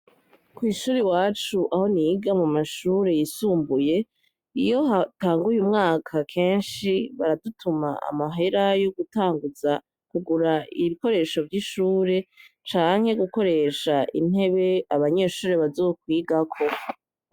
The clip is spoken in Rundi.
Kw'ishure iwacu aho niga mumashure yisumbuye iyo hatanguye umwaka kenshi baradutuma amahera yogutanguza kugura ibikoresho vy'ishure canke gukoresha intebe abanyeshure bazokwigako.